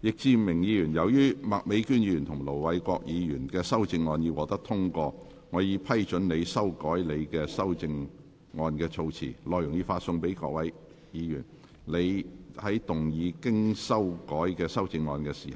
易志明議員，由於麥美娟議員及盧偉國議員的修正案獲得通過，我已批准你修改你的修正案措辭，內容已發送各位議員。你在動議經修改的修正案時，